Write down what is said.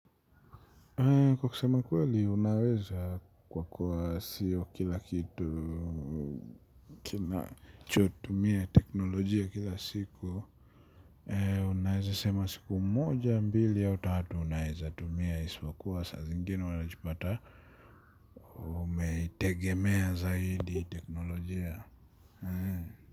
Kwa kusema ukweli unaweza kwa kuwa siyo kila kitu kinachotumia teknolojia kila siku. Unaweza sema siku moja mbili au tatu unaweza tumia isipokuwa saa zingine unajipata umeitegemea zaidi teknolojia.